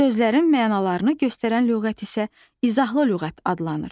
sözlərin mənalarını göstərən lüğət isə izahlı lüğət adlanır.